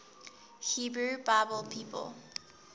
hebrew bible people